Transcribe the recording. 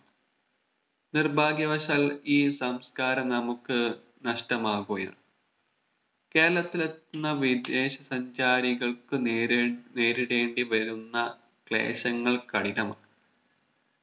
നിർഭാഗ്യവശാൽ ഈ സംസ്കാരം നമുക്ക് നഷ്ടമാവുകയാണ് കേരളത്തിലെത്തുന്ന വിദേശ സഞ്ചാരികൾക്ക് നേരേ നേരിടേണ്ടി വരുന്ന ക്ലേശങ്ങൾ കഠിനമാണ്